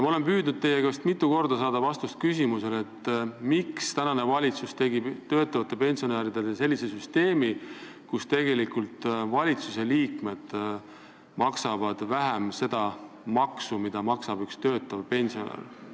Ma olen mitu korda püüdnud teie käest saada vastust küsimusele, miks tegi praegune valitsus sellise süsteemi, kus valitsusliikmed maksavad tegelikult vähem maksu kui töötavad pensionärid.